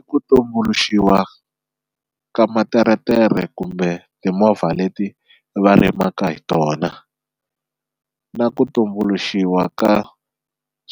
I ku tumbuluxiwa ka materetere kumbe timovha leti va rimaka hi tona na ku tumbuluxiwa ka